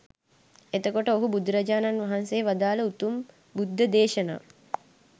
එතකොට ඔහු බුදුරජාණන් වහන්සේ වදාළ උතුම් බුද්ධ දේශනා